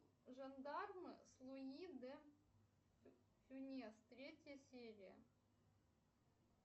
жандармы с луи де фюнес третья серия